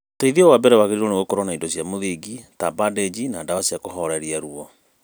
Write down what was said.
Uteithio wa mbere wagĩrĩirwo gũkorwo na indo cia mũthingi ta bandĩnji na dawa cia kũhoreria ruo